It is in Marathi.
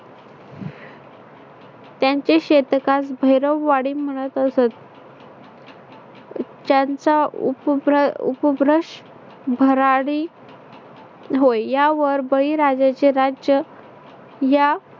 त्यांचे शेतकास भैरवाडी म्हणत असत. त्यांचा उपभ्र उपभ्रश भराडी होय. यावर बळीराजाचे राज्य या